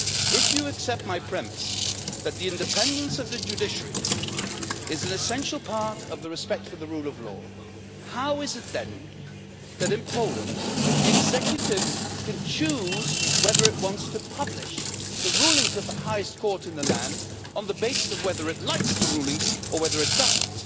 If you accept my premise that the independence of the judiciary is an essential part of respect for the rule of law, how is it that in Poland, the executive can choose whether it wants to publish the rulings of the highest court in the land according to whether it likes the rulings or not?